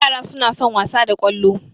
Ƴara suna son wasa da Kwalo